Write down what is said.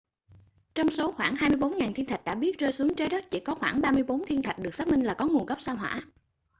trong số khoảng 24.000 thiên thạch đã biết rơi xuống trái đất chỉ có khoảng 34 thiên thạch được xác minh là có nguồn gốc sao hỏa